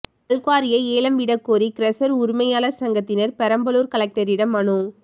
கல்குவாரிகளை ஏலம் விடக்கோரி கிரஷர் உரிமையாளர் சங்கத்தினர் பெரம்பலூர் கலெக்டரிடம் மனு